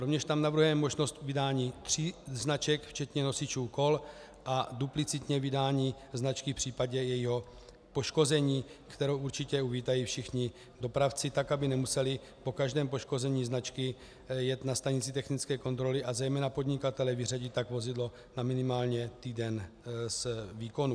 Rovněž tam navrhujeme možnost vydání tří značek včetně nosičů kol a duplicitně vydání značky v případě jejího poškození, kterou určitě uvítají všichni dopravci, tak aby nemuseli po každém poškození značky jet na stanici technické kontroly a zejména podnikatelé vyřadit tak vozidlo na minimálně týden z výkonu.